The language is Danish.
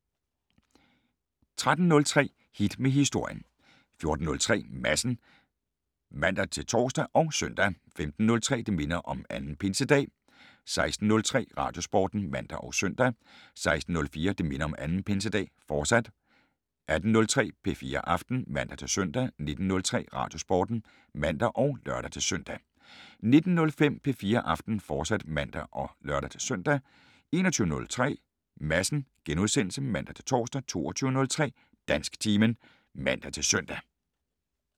13:03: Hit med Historien 14:03: Madsen (man-tor og søn) 15:03: Det minder om 2. Pinsedag 16:03: Radiosporten (man og søn) 16:04: Det minder om 2. Pinsedag, fortsat 18:03: P4 Aften (man-søn) 19:03: Radiosporten (man og lør-søn) 19:05: P4 Aften, fortsat (man og lør-søn) 21:03: Madsen *(man-tor) 22:03: Dansktimen (man-søn)